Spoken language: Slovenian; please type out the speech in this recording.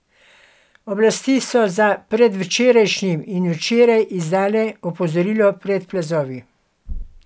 Oblasti so za predvčerajšnjim in včeraj izdale opozorilo pred plazovi.